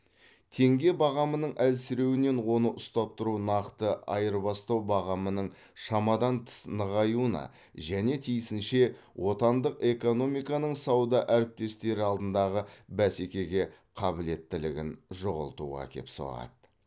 теңге бағамының әлсіреуінен оны ұстап тұру нақты айырбастау бағамының шамадан тыс нығаюына және тиісінше отандық экономиканың сауда әріптестері алдындағы бәсекеге қабілеттілігін жоғалтуға әкеп соғады